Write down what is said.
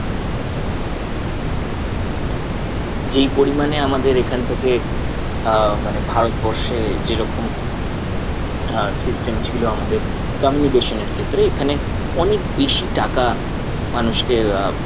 যেই পরিমানে আমাদের এখান থেকে আহ মানে ভারতবর্ষে যেরকম আহ system ছিল আমাদের communication এর ক্ষেত্রে এখানে অনেক বেশি টাকা মানুষকে আহ